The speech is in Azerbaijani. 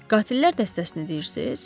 Qatillər dəstəsini deyirsiz?